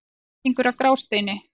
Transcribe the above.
Flutningur á Grásteini.